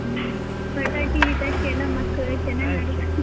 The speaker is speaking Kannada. ಹ್ಮ್ ಪಟಾಕಿ ಗಿಟಾಕಿ ಎಲ್ಲಾ ಮಕ್ಕಳ್ ಚೆನ್ನಾಗಿ.